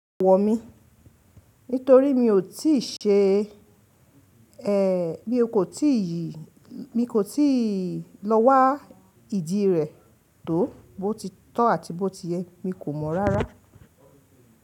Wọ̀ mí, nítorí mi ò tíì ṣe, ẹ, mi kò tíì yìí, mi kò tíì lọ wá ìdí rẹ̀ tó bó ti tọ́ àti bó ti yẹ, mi kò mọ̀ rárá.